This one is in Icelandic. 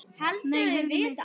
Nei, heyrðu mig.